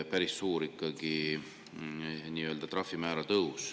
See on ikkagi päris suur trahvimäära tõus.